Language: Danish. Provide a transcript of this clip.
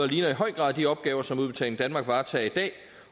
ligner i høj grad de opgaver som udbetaling danmark varetager i dag